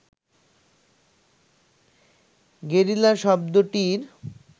guerrilla শব্দটির